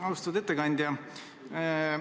Austatud ettekandja!